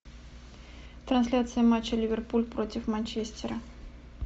трансляция матча ливерпуль против манчестера